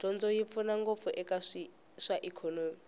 dyondzo yi pfuna ngopfu eka swa ikhonomi